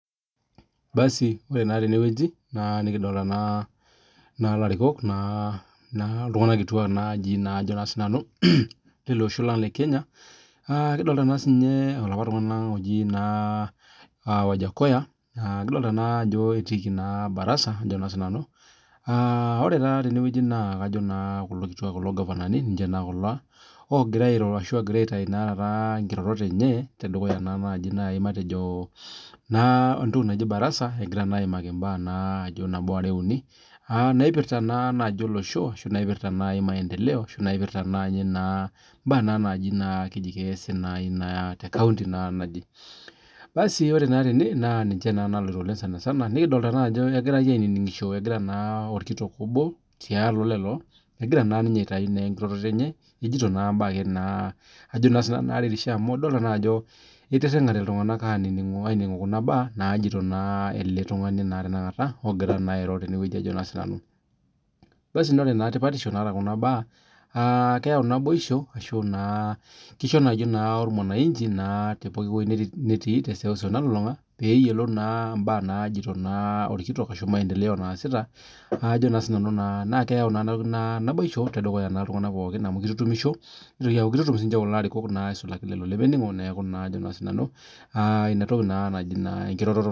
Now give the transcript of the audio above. Ore naa tenewueji nikidolita elarikok iltung'ana kituak lele Osho lang lee Kenya kidolita naa olapa tung'ani oji wajakoya kidolita naa Ajo etii Baraza oree naa tene naa kajo kulo kituak kulo gavanani ninje naa kulo ogira airo ashu etau naa nkirorot enye tedukuya naa barasa egira ayimaki mbaa nabo are uni naipirta naaji olosho ashu naipirta naaji maendeleo ashu naipirta naaji mbaa naaji keasi tee county ore naa tene naa ninye naloito sanisana nikidolita naa Ajo kegirai aininigisho agira naa orkitok obo tiatua lelo egira aitau enkiroroto enye ejoito naa mbaa naretisho amu edolita Ajo etiringate iltung'ana aininingu Kuna mbaa najoito ele tung'ani ogira airo tenewueji naa ore naa tipatisho najoito Kuna mbaa na keyau tipatisho ashu naboisho kisho naa ormwana inchi tewueji netii tee seuseu nalulung'a pee eyiolou mbaa najoito orkitok ashu maendeleo naasita naa keyau naaji naboisho tedukuya iltung'ana pookin amu kitutumisho nitutum siniche kulo arikok esulaki kulo lemeningo ena toki naaji enkiroroto